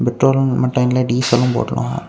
பெட்ரோல்லும் and லைன்ல diesel னு போட்ருக்காங்க.